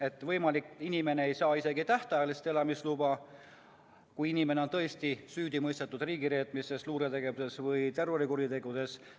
On võimalik, et inimene ei saa isegi tähtajalist elamisluba, kui ta on tõesti süüdi mõistetud riigireetmises, luuretegevuses või terrorikuritegudes.